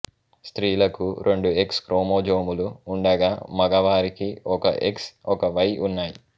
స్త్రీలకు రెండు ఎక్స్ క్రోమోజోములు ఉండగా మగవారికి ఒక ఎక్స్ ఒక వై ఉన్నాయి